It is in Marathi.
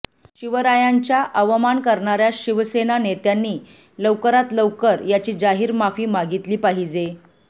शिवरायांच्या अवमान करणार्या शिवसेना नेत्यांनी लवकरात लवकर याची जाहीर माफी मागितली पाहिजे